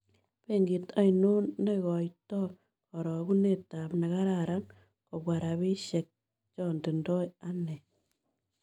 Benkiit ainon negoitonkarogunetap nekaraaran kobwa rabisiek chotindoi anee